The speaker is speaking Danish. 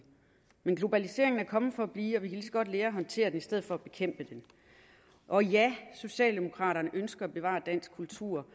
men globaliseringen er kommet for at blive og vi kan godt lære at håndtere den i stedet for at bekæmpe den og ja socialdemokraterne ønsker at bevare dansk kultur